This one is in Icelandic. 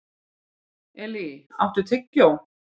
Elí, áttu tyggjó?